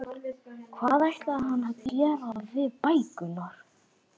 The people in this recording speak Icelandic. Hvað ætlaði hann að gera við bækurnar?